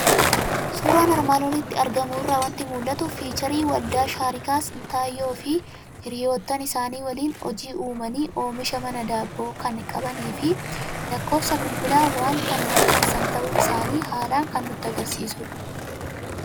Suuraa armaan olitti argamu irraa waanti mul'atu; fiicharii waldaa shaarikaa Sintaayyoofi hiriyyootan isaani waliin hojii uumani, oomisha mana daabboo kan qabanifi lakkoofsa bilbila wan kan maxxansan ta'uu isaani haalan kan nutti agarsiisudha.